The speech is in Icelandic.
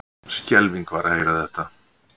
Skelfing var að heyra þetta.